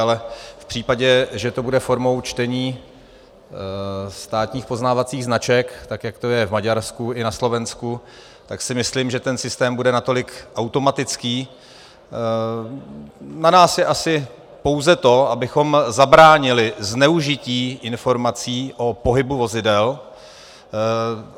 Ale v případě, že to bude formou čtení státních poznávacích značek, tak jak to je v Maďarsku i na Slovensku, tak si myslím, že ten systém bude natolik automatický - na nás je asi pouze to, abychom zabránili zneužití informací o pohybu vozidel.